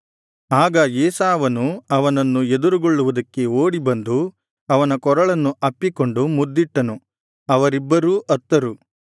ಆಗ ಏಸಾವನು ಅವನನ್ನು ಎದುರುಗೊಳ್ಳುವುದಕ್ಕೆ ಓಡಿ ಬಂದು ಅವನ ಕೊರಳನ್ನು ಅಪ್ಪಿಕೊಂಡು ಮುದ್ದಿಟ್ಟನು ಅವರಿಬ್ಬರೂ ಅತ್ತರು